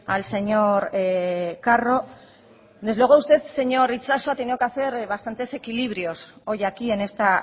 al señor carro desde luego usted señor itxaso ha tenido que hacer bastantes equilibrios hoy aquí en esta